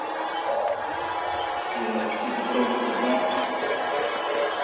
привет что ты пробу забрал